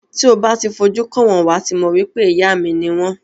Ti o ba ti fi ojú kan wọn wà ti mọ wipe ìyá mi ni wọn.